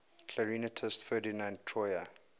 clarinetist ferdinand troyer